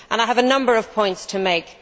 I have a number of points to make.